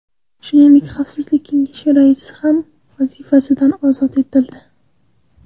Shuningdek, Xavfsizlik kengashi raisi ham vazifasidan ozod etildi.